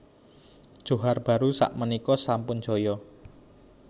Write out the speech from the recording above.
Johar Baru sak menika sampun jaya